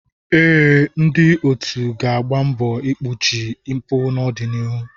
Ee, ndị otu ga-agba mbọ igbochi mpụ n'ọdịnihu.